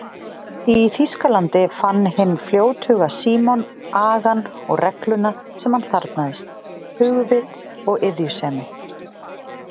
Í Þýskalandi fann hinn fljóthuga Símon agann og regluna sem hann þarfnaðist, hugvit og iðjusemi.